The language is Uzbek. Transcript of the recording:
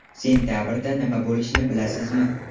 Sentabrda nima bo‘lishini bilasizmi?